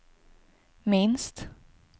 minst